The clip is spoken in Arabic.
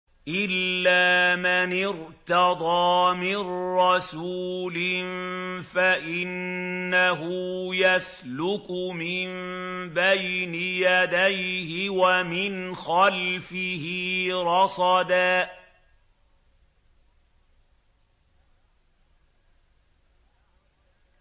إِلَّا مَنِ ارْتَضَىٰ مِن رَّسُولٍ فَإِنَّهُ يَسْلُكُ مِن بَيْنِ يَدَيْهِ وَمِنْ خَلْفِهِ رَصَدًا